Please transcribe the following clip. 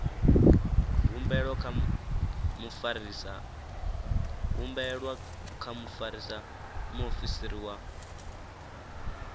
humbelwa kha mufarisa muofisiri wa